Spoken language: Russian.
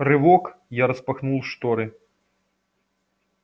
рывок я распахнул шторы